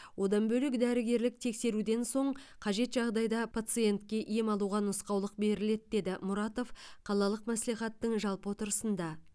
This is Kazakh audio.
одан бөлек дәрігерлік тексеруден соң қажет жағдайда пациентке ем алуға нұсқаулық беріледі деді мұратов қалалық мәслихаттың жалпы отырысында